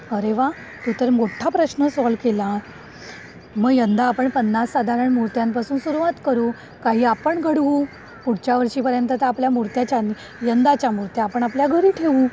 अरे वा तू तर मोठा प्रश्न सॉल्व केला. म यंदा आपण पन्नास साधारण मूर्त्यांपासून सुरुवात करू काही आपण घडवू. पुढच्या वर्षीपर्यंत तर आपल्या मूर्त्या यंदाच्या मूर्त्या आपण आपल्या घरी ठेवू.